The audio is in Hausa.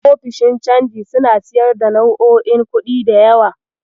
Ofishin canji suna siyar da nau'o'in kuɗi da yawa.